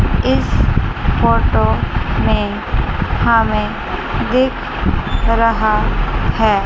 इस फोटो में हमें दिख रहा है।